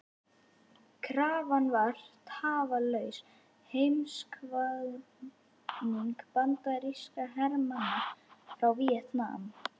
Krafan var Tafarlaus heimkvaðning bandarískra hermanna frá Víetnam.